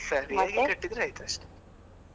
ಸರಿಯಾಗಿ ಕಟ್ಟಿದ್ರೆ ಆಯಿತು ಅಷ್ಟೇ.